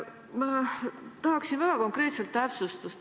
Ma tahaksin väga konkreetset täpsustust.